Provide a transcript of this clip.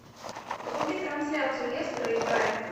вруби трансляцию лестера и брайтона